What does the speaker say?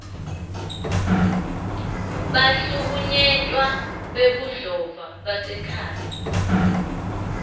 bahlukunyetwa bebudlova basemakhaya